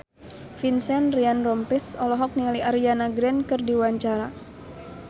Vincent Ryan Rompies olohok ningali Ariana Grande keur diwawancara